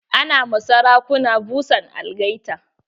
Ana ma sarakuna busan algaita.